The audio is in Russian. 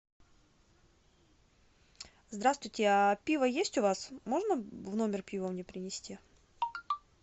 здравствуйте а пиво есть у вас можно в номер пиво мне принести